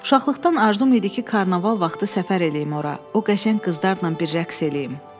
Uşaqlıqdan arzum idi ki, karnaval vaxtı səfər eləyim ora, o qəşəng qızlarla bir rəqs eləyim.